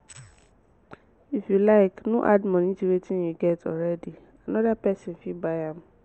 if you like no add money to wetin you get already another person fit buy am